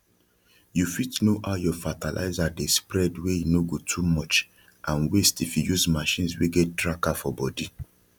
you fit know how your fertilizer dey spreadwey e no go too much and waste if you use machines wey get tracker for body